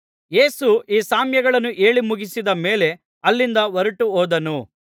ಯೇಸು ಈ ಸಾಮ್ಯಗಳನ್ನು ಹೇಳಿ ಮುಗಿಸಿದ ಮೇಲೆ ಅಲ್ಲಿಂದ ಹೊರಟು ಹೋದನು